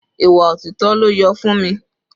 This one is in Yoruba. Ìwà òtítọ́ ló yọ Funmi.